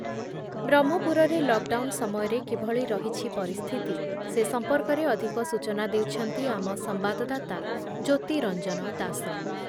ବ୍ରହ୍ମପୁରରେ lockdown ସମୟରେ କିଭଳି ରହିଛି ପରିସ୍ଥିତି ସେ ସମ୍ପର୍କରେ ଅଧିକ ସୂଚନା ଦେଉଛନ୍ତି ଆମ ସମ୍ବାଦଦାତା ଜ୍ୟୋତିରଞ୍ଜନ ଦାସ